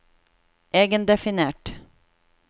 egendefinert